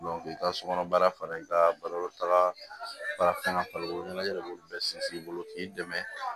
i ka sokɔnɔ baara fara i ka balota baara kan bari ɲɛna b'olu bɛɛ sinsin i bolo k'i dɛmɛ